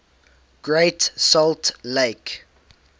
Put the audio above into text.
great salt lake